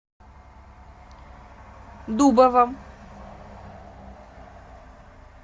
дубова